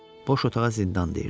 Boş otağa zindan deyirdilər.